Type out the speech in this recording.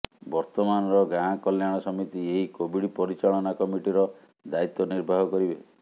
ବର୍ତ୍ତମାନର ଗାଁ କଲ୍ୟାଣ ସମିତି ଏହି କୋଭିଡ ପରିଚାଳନା କମିଟିର ଦାୟିତ୍ୱ ନିର୍ବାହ କରିବେ